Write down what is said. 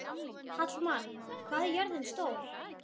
Hallmann, hvað er jörðin stór?